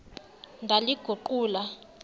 ndaliguqula